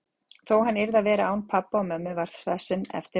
Þó hann yrði að vera án pabba og mömmu það sem eftir var.